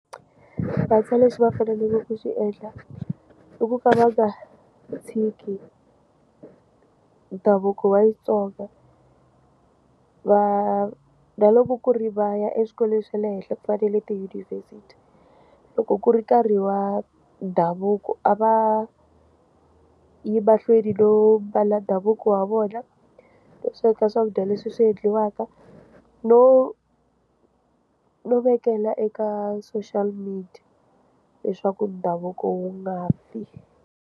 Vantshwa lexi va faneleke ku xi endla i ku famba ka tshiki ndhavuko wa Xitsonga va na loko ku ri vaya exikolweni xa le henhla ku fanele tiyunivhesiti loko ku ri nkarhi wa ndhavuko a va yi mahlweni no mbala ndhavuko wa vona leswaku ka swakudya leswi swi endliwaka no no vekela eka social media leswaku ndhavuko wu nga fi.